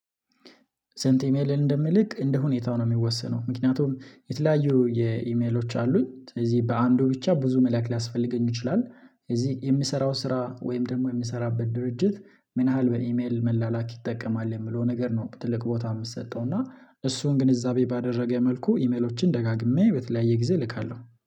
ስንት ኢሜል እንደምልክ እንደ ሁኔታው ነው የሚወሰነው ምክንያቱም የተለያዩ የኢሜሎች አሉኝ ስለዚህ በአንዱ ብቻ ብዙ መላክ ሊያስፈልገኝ ይችላል። እዚህ የምሰራው ስራ ወይም ደግሞ የምሰራበት ድርጅት ምን ያህል በኢሜል መላላክ ይጠቀማል የሚለው ነገር ነው ትልቅ ቦታ የምትሰጠው እና እሱን ግንዛቤ ባደረገ መልኩ ኢሜሎችን ደጋግሜ በተለያየ ጊዜ እልካለሁ